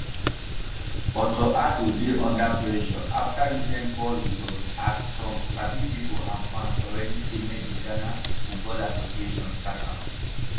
otto addo dey under pressure afta recent poor results as some sabi pipo and fans already say make di ghana football association sack am